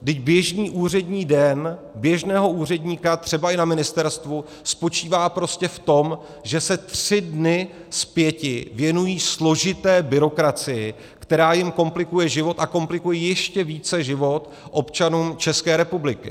Vždyť běžný úřední den běžného úředníka, třeba i na ministerstvu, spočívá prostě v tom, že se tři dny z pěti věnují složité byrokracii, která jim komplikuje život a komplikuje ještě více život občanům České republiky.